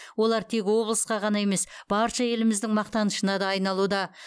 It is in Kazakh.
олар тек облысқа ғана емес барша еліміздің мақтанышына да айналуда